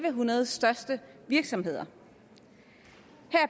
en hundrede største virksomheder